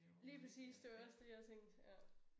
Lige præcis det var også det jeg tænkte ja